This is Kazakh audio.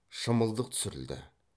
шымылдық түсірілді